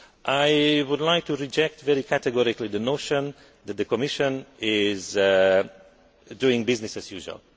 I would like to reject very categorically the notion that the Commission is doing business as usual.